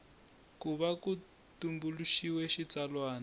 ku va ku tumbuluxiwile xitsalwana